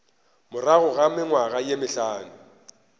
morago ga mengwaga ye mehlano